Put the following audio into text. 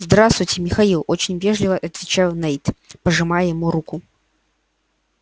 здравствуйте михаил очень вежливо отвечал найд пожимая ему руку